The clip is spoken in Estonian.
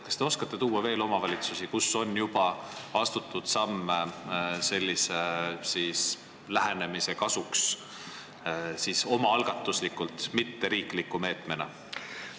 Kas te oskate nimetada veel omavalitsusi, kus on juba astutud samme sellise lähenemise juurutamiseks omaalgatuslikult, mitte riikliku meetmena?